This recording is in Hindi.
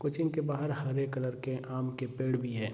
कोचिंग के बाहर हरे कलर के आम के पेड़ भी है।